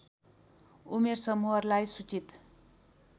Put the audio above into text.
उमेर समूहहरूलाई सूचित